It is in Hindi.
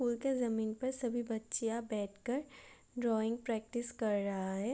जमीन पर सभी बच्चे यहाँ बैठ कर ड्राईग प्रकटिस कर रहा है |